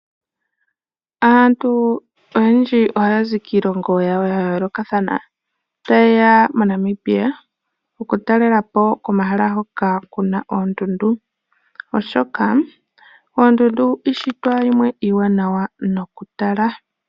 Aantu oyendji ohaya zi kiilongo yawo yayoolokathana taye ya moNamibia okutalela po komahala hoka kuna oondundu oshoka oondundu iishitwa yimwe iiwanawa noku tala.